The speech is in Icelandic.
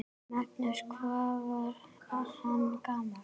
Magnús: Hvað var hann gamall?